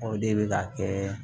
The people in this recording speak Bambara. O de bɛ ka kɛ